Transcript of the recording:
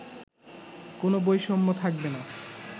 কোনো বৈষম্য থাকবে না